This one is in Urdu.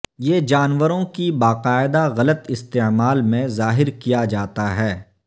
یہ جانوروں کی باقاعدہ غلط استعمال میں ظاہر کیا جاتا ہے